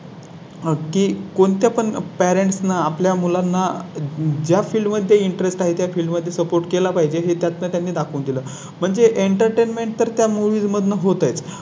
नक्की कोणत्या पण Parent ना आपल्या मुलांना ज्या Field मध्ये Interest आहेत या फिल्मध्ये Support केला पाहिजे हे त्यांनी दाखवून दिलं. म्हणजे Entertainment तर त्या Movies मधून होत आहे.